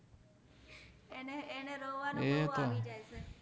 એને એને રોવાનુ બૌ આવી જાએ છે